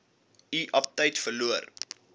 u aptyt verloor